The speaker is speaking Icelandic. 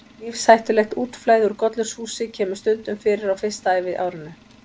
Lífshættulegt útflæði úr gollurshúsi kemur stundum fyrir á fyrsta æviárinu.